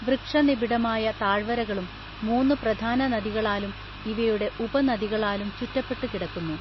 വൃക്ഷ നിബിഡമായ താഴ്വരകളും മൂന്നു പ്രധാന നദികളാലും ഇവയുടെ ഉപ നദികളാലും ചുറ്റപ്പെട്ടു കിടക്കുന്നു